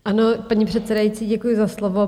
Ano, paní předsedající, děkuji za slovo.